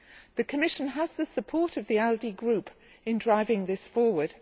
The Commission has the support of the ALDE Group in driving this forward.